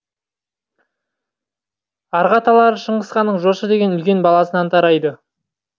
арғы аталары шыңғыс ханның жошы деген үлкен баласынан тарайды